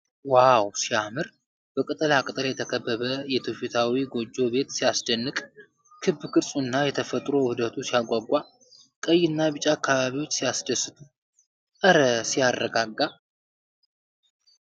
ዋው ሲያምር ! በቅጠላቅጠል የተከበበ የትውፊታዊ ጎጆ ቤት ሲያስደንቅ ! ክብ ቅርጹና የተፈጥሮ ውህደቱ ሲያጓጓ ! ቀይና ቢጫ አበባዎች ሲያስደስቱ ! እረ ሲያረጋጋ!